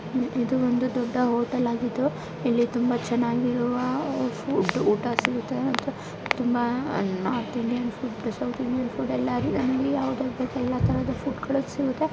ಇದು ಒಂದು ದೊಡ್ಡ ಹೋಟೆಲ್ ಆಗಿದ್ದು ತುಂಬಾ ಚೆನ್ನಾಗಿರುವ ಫುಡ್ ಊಟ ಸಿಗುತ್ತೆ ತುಂಬಾ north Indian south Indian food ಯಾವುದು ಬೇಕು ಎಲ್ಲಾ ತರದ ಫುಡ್ ಸಿಗುತ್ತೆ .